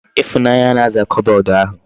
Ifunanya na-aza kobod ahu